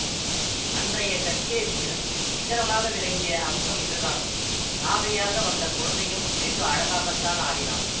அன்றைய கச்சேரியில் சிகரமாக விளங்கிய அம்சம் இதுதான் ராதையாக வந்த குழந்தையும் வெகு அழகாகத்தான் ஆடினாள்